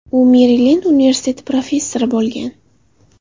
U Merilend universiteti professori bo‘lgan.